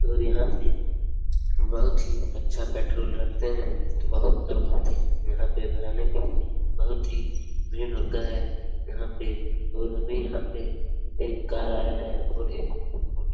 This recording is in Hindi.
और यहाँ पे बहुत ही अच्छा पेट्रोल रखते हैं। बहुत लोग आते हैं यहाँ पे भराने के लिए बहुत ही भीड़ होता है यहाँ पे और अभी यहाँ पे एक कार आया है और मो --